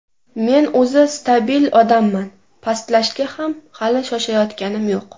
Men o‘zi stabil odamman, pastlashga ham hali shoshayotganim yo‘q.